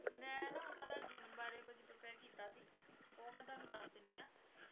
ਮੈਂ ਨਾ ਓਹਨਾ ਦਾ ਜੀਵਨ ਬਾਰੇ ਕੁਛ prepare ਕੀਤਾ ਸੀ ਉਹ ਮੈਂ ਤੁਹਾਨੂੰ ਦਸ ਦਿਨੀ ਆ